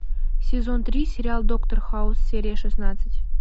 сезон три сериал доктор хаус серия шестнадцать